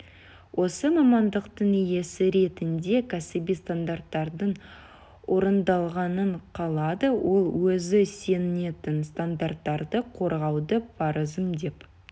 осы мамандықтың иесі ретінде кәсіби стандарттардың орындалғанын қалады ол өзі сенетін стандарттарды қорғауды парызым деп